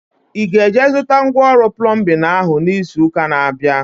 Ị ga-eje zụta ngwa ọrụ plọmbin ahu izu ụka na-abịa?